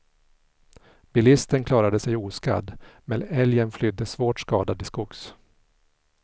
Bilisten klarade sig oskadd, men älgen flydde svårt skadad till skogs.